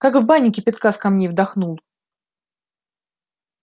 как в бане кипятка с камней вдохнул